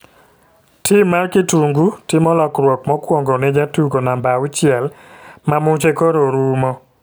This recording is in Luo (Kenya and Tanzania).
Tim mar kitungu timo lokruok mokuongo ne jatugo namba auchiel ma muche koro rumo.